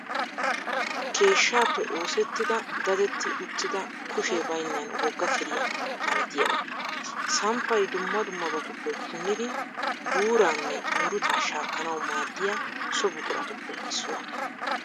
Keeshshaappe oosettida dadetti uttida kushee bayinnan wogga keriya malatiyaga. Samppay dumma dummabatuppe punnidi buquraanne murutaa shaakkanawu maaddiya so buquratuppe issuwa.